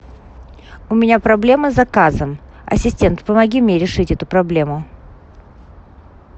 у меня проблема с заказом ассистент помоги мне решить эту проблему